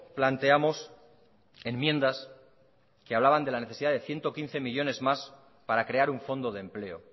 planteamos enmiendas que hablaban de la necesidad de ciento quince millónes más para crear un fondo de empleo